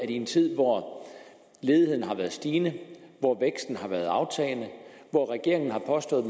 i en tid hvor ledigheden har været stigende hvor væksten har været aftagende hvor regeringen har påstået at